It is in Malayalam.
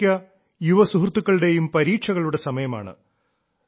ഒട്ടുമിക്ക യുവ സുഹൃത്തുക്കളുടെയും പരീക്ഷകളുടെ സമയമാണ്